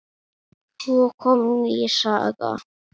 Svo kom ný saga.